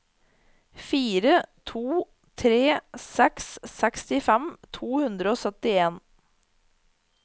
fire to tre seks sekstifem to hundre og syttien